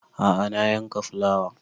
A'a na yanka fulawa